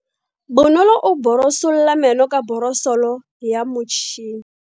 Bonolo o borosola meno ka borosolo ya motšhine.